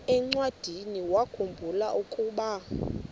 encwadiniwakhu mbula ukuba